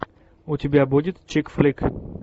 у тебя будет чик флик